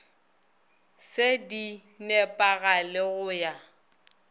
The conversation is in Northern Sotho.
se di nepagale go ya